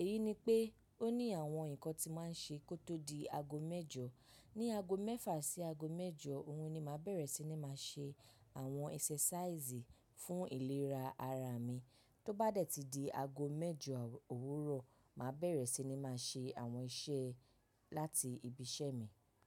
Èyí ni pé oo ni àwọn nǹkan tí mo máa ń ṣe kí oo tó di aago mẹ́jọ. Ní aago mẹ́fà sí aago mẹ́jọ, òhun ni màá bẹ̀rẹ̀ sí ní máa ṣe àwọn exercise fún ìlera ara mi. Tó bá dẹ̀ tí di aago mẹ́jọ òwúrọ̀, màá bẹ̀rẹ̀ sí ní máa ṣe àwọn iṣẹ́ láti ibi iṣẹ́ mi.